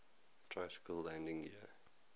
tricycle landing gear